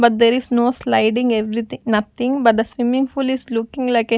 But there is no sliding everything nothing but the swimming pool is looking like a --